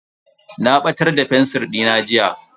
Na batar da fensir dina jiya.